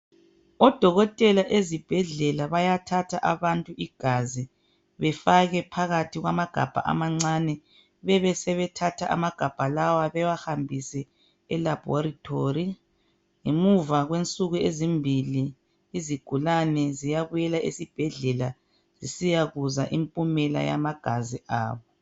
Odokotela ezibhedlela bayathatha abantu igazi. Befake phakathi kwamagabha amancane. Besebethatha amagabha lawa bawahambise eLaboratory. Ngemuva kwensuku ezimbili, izigulane ziyabuyela ezibhedlela. Zisiyakuzwa impumela yamagazi azo.